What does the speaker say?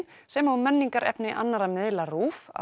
sem og menningarefni annarra miðla RÚV á